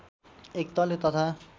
एक तले तथा